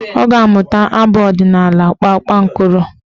Ọ ga-amụta abụ ọdịnaala "kpakpankoro"